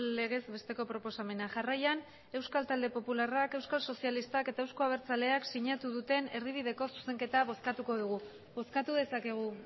legez besteko proposamena jarraian euskal talde popularrak euskal sozialistak eta euzko abertzaleak sinatu duten erdibideko zuzenketa bozkatuko dugu bozkatu dezakegu